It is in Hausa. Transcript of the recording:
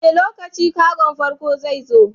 Wane lokaci kagon farko zai zo?